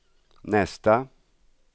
nästa